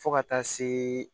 Fo ka taa se